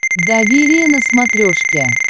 доверие на смотрешке